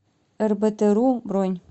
эрбэтэру бронь